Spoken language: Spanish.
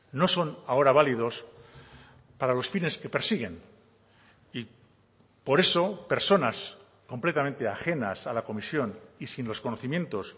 no son ahora válidos para los fines que persiguen y por eso personas completamente ajenas a la comisión y sin los conocimientos